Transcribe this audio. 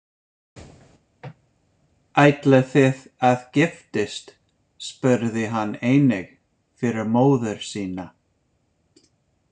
Ætlið þið að giftast, spurði hann einnig fyrir móður sína.